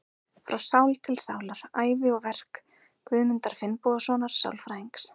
Frá sál til sálar: Ævi og verk Guðmundar Finnbogasonar sálfræðings.